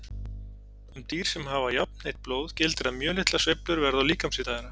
Um dýr sem hafa jafnheitt blóð gildir að mjög litlar sveiflur verða á líkamshita þeirra.